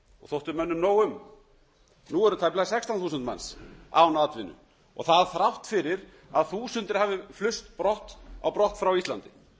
þótti mönnum nóg um nú eru tæplega sextán þúsund manns án atvinnu og það er þrátt fyrir að þúsundir hafi flust brott frá íslandi